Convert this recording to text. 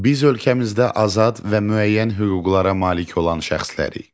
Biz ölkəmizdə azad və müəyyən hüquqlara malik olan şəxslərik.